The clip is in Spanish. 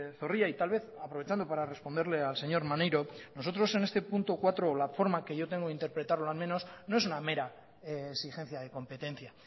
zorrilla y tal vez aprovechando para responderle al señor maneiro nosotros en este punto cuatro la forma que yo tengo de interpretarlo al menos no es una mera exigencia de competencia